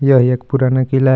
यह एक पुराना किला है.